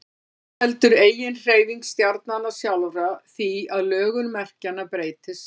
einnig veldur eiginhreyfing stjarnanna sjálfra því að lögun merkjanna breytist